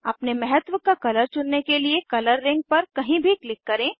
अपने महत्व का कलर चुनने के लिए कलर रिंग पर कहीं भी क्लिक करें